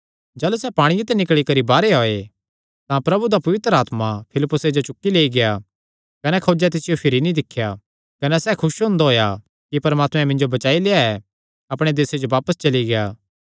जाह़लू सैह़ पांणिये ते निकल़ी करी बाहरेयो आये तां प्रभु दा पवित्र आत्मा फिलिप्पुसे जो चुक्की लेई गेआ कने खोजें तिसियो भिरी नीं दिख्या कने सैह़ खुस हुंदा होएया कि परमात्मे मिन्जो बचाई लेआ अपणे देसे जो बापस चली गेआ